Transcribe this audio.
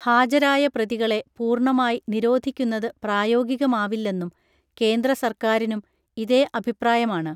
ഹാജരായ പ്രതികളെ പൂർണമായി നിരോധിക്കുന്നതു പ്രായോഗികമാവില്ലെന്നും കേന്ദ്രസർക്കാരിനും ഇതേ അഭിപ്രായമാണ്